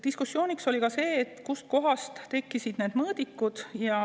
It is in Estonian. Diskussiooniks oli ka see, kustkohast tekkisid need mõõdikud.